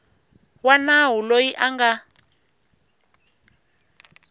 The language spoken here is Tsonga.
wa nawu loyi a nga